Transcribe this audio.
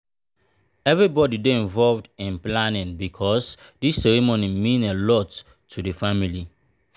everybody dey involved in planning because this ceremony mean a lot to the family.